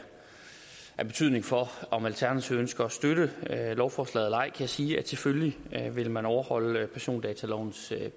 af betydning for om alternativet ønsker at støtte lovforslaget eller ej sige at selvfølgelig vil man overholde persondatalovens